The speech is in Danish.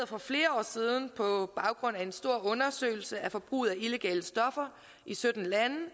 for flere år siden på baggrund af en stor undersøgelse af forbruget af illegale stoffer i sytten lande